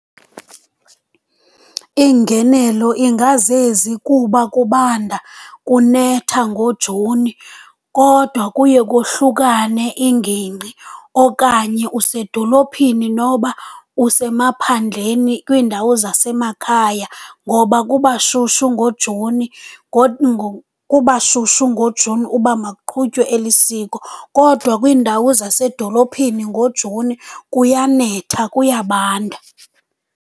Iingenelo ingazezi kuba kubanda, kunetha ngoJuni kodwa kuye kohlukane iingingqi, okanye usedolophini noba usemaphandleni kwiindawo zasemakhaya ngoba kuba shushu ngoJuni kuba shushu ngiJuni, uba makuqhutywe eli siko. Kodwa kwiindawo zasedolophini ngoJuni kuyanetha, kuyabanda.